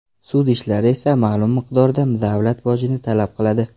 Sud ishlari esa ma’lum miqdorda davlat bojini talab qiladi.